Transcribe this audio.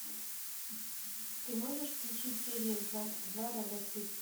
ты можешь включить серия двадцать два робоцып